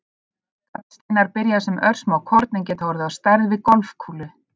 Gallsteinar byrja sem örsmá korn en geta orðið á stærð við golfkúlu.